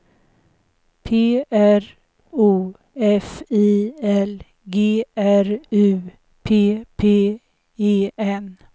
P R O F I L G R U P P E N